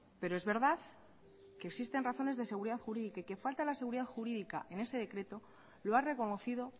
pero es verdad que existen razones de seguridad jurídica y que falta la seguridad jurídica en este decreto lo ha reconocido